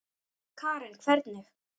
Karen: Hvernig?